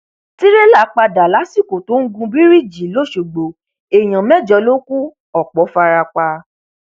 tìrẹlà padà lásìkò tó ń gun bíríìjì lọsọgbọ èèyàn mẹjọ ló kù ọpọ fara pa